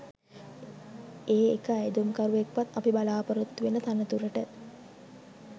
ඒ එක අයදුම්කරුවෙක්වත් අපි බලාපොරොත්තු වෙන තනතුරට